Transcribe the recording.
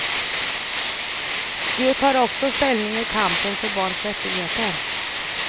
Du tar också ställning i kampen för barns rättigheter.